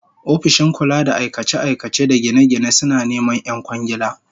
Ofishin kula da aikace-aikace da gine-gine suna neman 'yan kwangiila